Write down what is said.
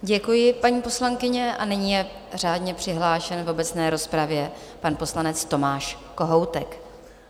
Děkuji, paní poslankyně, a nyní je řádně přihlášen v obecné rozpravě pan poslanec Tomáš Kohoutek.